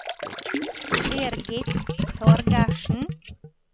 Birgit Torgersen